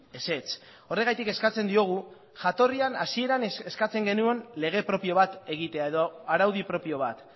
ezetz horregatik eskatzen diogu jatorrian hasieran eskatzen genuen lege propio bat egitea edo araudi propio bat